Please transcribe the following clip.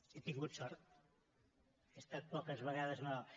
he tingut sort he estat poques vegades malalt